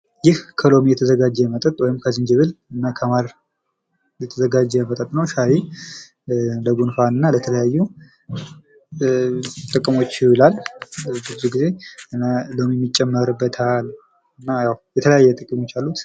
ይህ ከሎሚ የተዘጋጀ መጠጥ ወይም ከዝንጅብልና ከማር የተዘጋጀ መጠጥ ነዉ። ሻይ ለጉንፋንና ለተለያዩ ጥቅሞች ይውላል። ብዙ ጊዜ ሎሚ የሚጨመርበታል የተለያዩ ጥቅሞች አሉት።